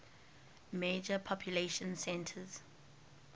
major population centers